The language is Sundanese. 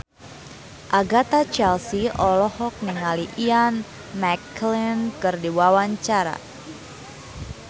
Agatha Chelsea olohok ningali Ian McKellen keur diwawancara